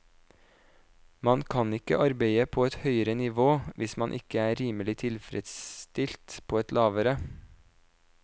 Man kan ikke arbeide på et høyere nivå, hvis man ikke er rimelig tilfredsstilt på et lavere.